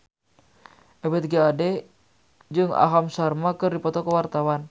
Ebith G. Ade jeung Aham Sharma keur dipoto ku wartawan